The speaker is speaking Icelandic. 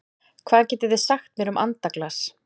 Hvað getið þið sagt mér um andaglas?